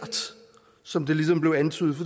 som det ligesom blev antydet for